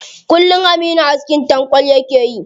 Kullum aminu askin tankwal yake yi.